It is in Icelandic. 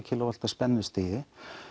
k w spennustigi